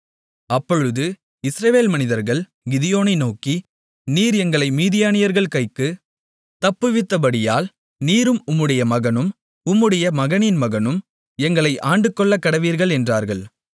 அப்பொழுது இஸ்ரவேல் மனிதர்கள் கிதியோனை நோக்கி நீர் எங்களை மீதியானியர்கள் கைக்கு தப்புவித்தபடியால் நீரும் உம்முடைய மகனும் உம்முடைய மகனின் மகனும் எங்களை ஆண்டுகொள்ளக்கடவீர்கள் என்றார்கள்